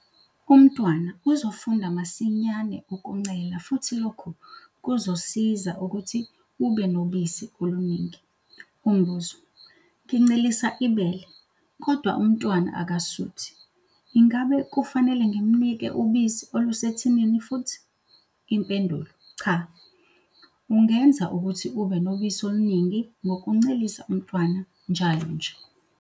Umntwana uzofunda masinyane ukuncela futhi lokhu kuzokusiza ukuthi ube nobisi oluningi. Umbuzo- Ngincelisa ibele, kodwa umntwana akasuthi. Ingabe kufanele ngimnike ubisi olusethinini futhi? Impendulo- Cha, ungenza ukuthi ube nobisi oluningi ngokuncelisa umntwana njalo nje.